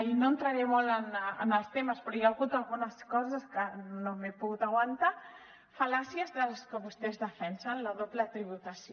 i no entraré molt en els temes però hi ha hagut algunes coses que no m’he pogut aguantar fal·làcies de les que vostès defensen la doble tributació